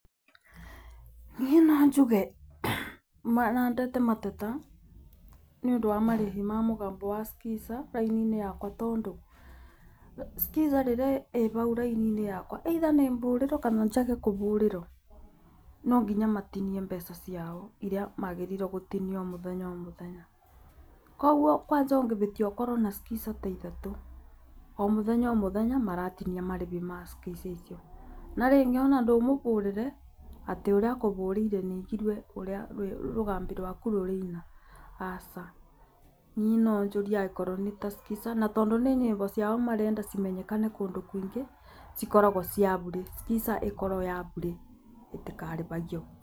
Niĩ no njuge marandete mateta nĩũndũ wa marĩhi ma mũgambo wa Skiza raini yakwa, tondũ Skiza rĩrĩa ĩ bau raininĩ yakwa either nĩ bũrĩrwo kana njage kũbũrĩrwo no nginya matinie mbeca ciao iria magĩrĩirwo gũtinia o mũthenya o mũthenya, koguo kwanja ũngĩbĩtia ũkorwo na Skiza ta ithatũ, o mũthenya o mũthenya maratinia marĩbi ma Skiza icio, na rĩngĩ ona ndũrĩ ũmũbũrĩre atĩ ũrĩa ũkũbũrĩre nĩnjigue rũrĩa rũgambi rwaku rũrĩina, aca. Niĩ no njũrie akorwo nĩta Skiza na tondũ nĩ nyĩmbo ciao marenda cimenyekane kũndũ kũingĩ cikoragwo ciabure, Skiza ĩkoragwo ĩrĩ ya bure, ĩtikaribagio.